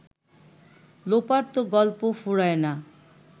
লোপার তো গল্প ফুরায় না